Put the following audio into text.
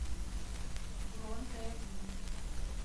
бронь дэодин